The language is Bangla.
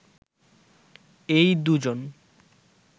এই দু'জন